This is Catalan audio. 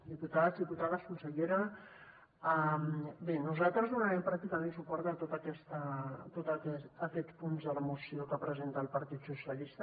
diputats i diputades consellera bé nosaltres donarem pràcticament suport a tots aquests punts de la moció que presenta el partit socialista